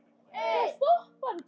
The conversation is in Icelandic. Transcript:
Nú skulum við breyta þessu.